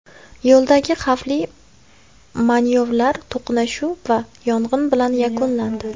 Yo‘ldagi xavfli manyovrlar to‘qnashuv va yong‘in bilan yakunlandi.